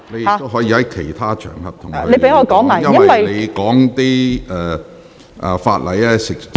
你可在其他場合向局長表達意見......